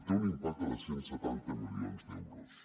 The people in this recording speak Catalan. té un impacte de cent i setanta milions d’euros